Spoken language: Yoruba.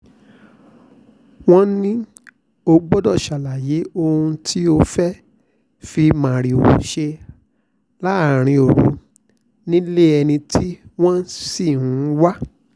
wọ́n ní ó gbọ́dọ̀ ṣàlàyé ohun tó fẹ́ẹ́ fi márìwò ṣe láàrin òru nílé ẹni tí wọ́n ṣì ń wá